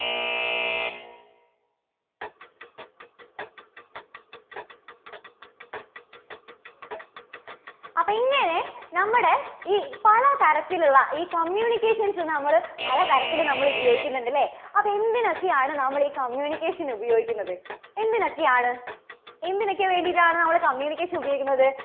അപ്പോ ഇങ്ങനെ നമ്മുടെ ഈ പലതരത്തിലുള്ള ഈ communications നെ നമ്മള് പല തരത്തില് നമ്മള് ഉപയോഗിക്കുന്നുണ്ട് അല്ലേ? അപ്പോ എന്തിനൊക്കെയാണ് നമ്മളീ communication ഉപയോഗിക്കുന്നത്? എന്തിനൊക്കെയാണ്? എന്തിനൊക്കെ വേണ്ടിയിട്ടാണ് നമ്മള് communication ഉപയോഗിക്കുന്നത്?